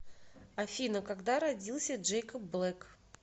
афина когда родился джейкоб блэк